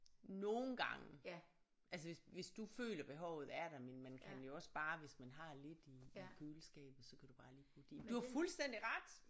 Nogle gange altså hvis hvis du føler behovet er der men man kan jo også bare hvis man har lidt i i køleskabet så kan du bare lige putte det i men du har fuldstændig ret